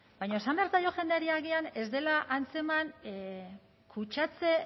baina esan behar zaio jendeari agian ez dela antzeman kutsatze